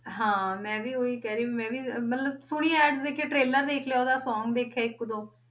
ਹਾਂ ਮੈਂ ਵੀ ਉਹੀ ਕਹਿ ਰਹੀ, ਮੈਂ ਵੀ ਮਤਲਬ ਹੁਣੀ Ads ਦੇਖ ਕੇ trailer ਦੇਖ ਲਿਆ ਉਹਦਾ song ਦੇਖੇ ਆ ਇੱਕ ਦੋ।